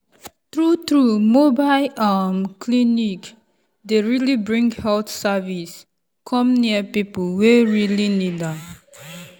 true true mobile[um]clinic dey really bring health service come near people wey really need am.